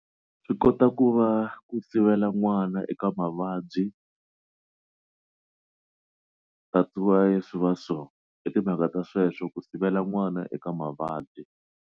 Swi kota ku va ku sivela n'wana eka mavabyi that's why swi va so i timhaka ta sweswo ku sivela n'wana eka mavabyi.